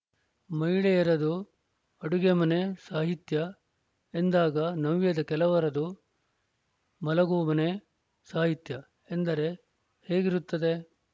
ಮಹಿಳೆಯರದು ಅಡುಗೆ ಮನೆ ಸಾಹಿತ್ಯ ಎಂದಾಗ ನವ್ಯದ ಕೆಲವರದು ಮಲಗೊ ಮನೆ ಸಾಹಿತ್ಯ ಎಂದರೆ ಹೇಗಿರುತ್ತದೆ